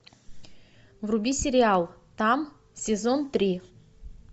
вруби сериал там сезон три